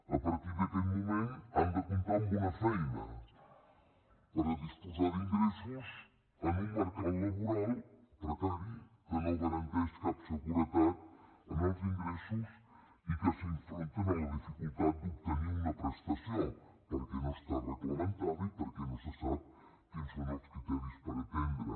a partir d’aquest moment han de comptar amb una feina per disposar d’ingressos en un mercat laboral precari que no garanteix cap seguretat en els ingressos i que s’enfronten a la dificultat d’obtenir una prestació perquè no està reglamentada i perquè no se sap quins són els criteris per atendre